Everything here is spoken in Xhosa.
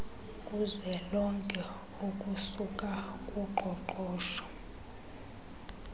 kuzwelonke okusuka kuqoqosho